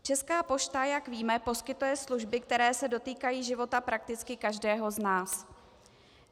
Česká pošta, jak víme, poskytuje služby, které se dotýkají života prakticky každého z nás.